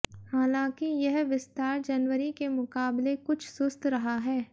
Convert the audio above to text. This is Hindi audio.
हालांकि यह विस्तार जनवरी के मुकाबले कुछ सुस्त रहा है